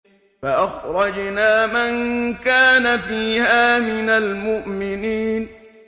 فَأَخْرَجْنَا مَن كَانَ فِيهَا مِنَ الْمُؤْمِنِينَ